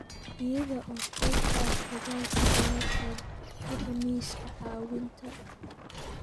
Iyada oo qayb ka ah dadaalka jawaabtan, bixi miiska caawinta.